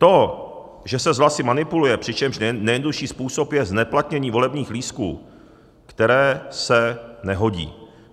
To, že se s hlasy manipuluje, přičemž nejjednodušší způsob je zneplatnění volebních lístků, které se nehodí.